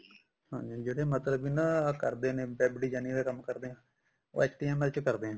ਹਾਂਜੀ ਜਿਹੜੇ ਮਤਲਬ ਕੇ ਨਾ ਜਿਹੜੇ ਕਰਦੇ ਨੇ web designing ਦਾ ਕੰਮ ਕਰਦੇ ਨੇ ਉਹ HTML ਚ ਕਰਦੇ ਨੇ